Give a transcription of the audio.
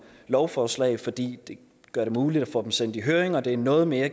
lovforslag fordi det gør det muligt at få dem sendt i høring og det er noget mere